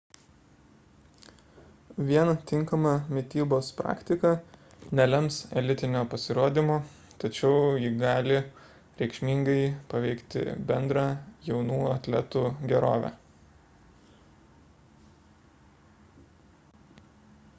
vien tinkama mitybos praktika nelems elitinio pasirodymo tačiau ji gali reikšmingai paveikti bendrą jaunų atletų gerovę